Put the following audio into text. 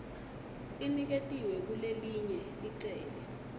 iniketiwe kulelelinye licele